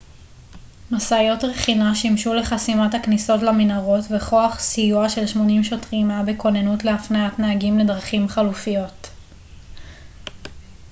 משאיות רכינה שימשו לחסימת הכניסות למנהרות וכוח סיוע של 80 שוטרים היה בכוננות להפניית נהגים לדרכים חלופיות